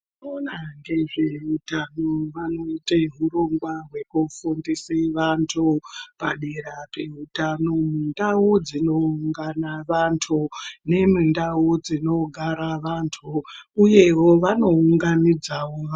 Vanoona ngezveutano vanoite hurongwa hwekufundise vantu, padera peutano, mundau dzinoungana vantu, nemundau dzinogara vantu, uyewo vanounganidzawo vantu.